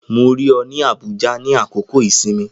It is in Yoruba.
Mo rí ọ ní Abuja nínú àkókò-ìsinmi